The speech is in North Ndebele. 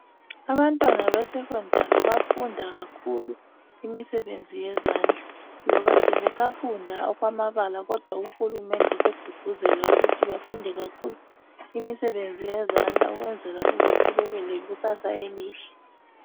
Abantwana be secondary bafunda kakhulu imisebenzi yezandla loba nje besafunda amabala uhulumende segqugquzela ukuthi bafunde kakhulu imisebenzi yezandla ukwenzela ukuthi babe lekusasa elihle